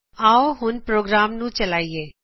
ਆਓ ਹੁਣ ਪ੍ਰੋਗਰਾਮ ਨੂੰ ਚਲਾਇਏ